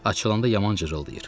Açılanda yaman cırıldayır.